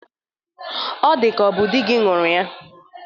Ọ dịka ọ bụ dị gi ñụrụ ya.